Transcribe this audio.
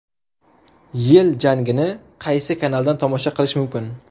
Yil jangini qaysi kanaldan tomosha qilish mumkin?.